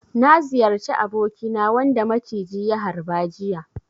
Na ziyarci abokina wanda ya maciji ya harba jiya.